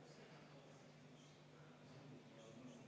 Ettepanekut toetab 33 saadikut, vastu on 5.